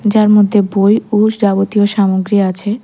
যার মধ্যে বই ও যাবতীয় সামগ্রী আছে।